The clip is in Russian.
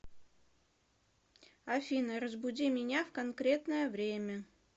афина разбуди меня в конкретное время